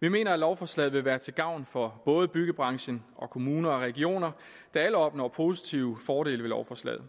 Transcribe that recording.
vi mener at lovforslaget vil være til gavn for både byggebranchen og kommuner og regioner der alle opnår positive fordele ved lovforslaget